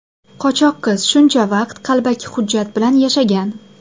Qochoq qiz shuncha vaqt qalbaki hujjat bilan yashagan.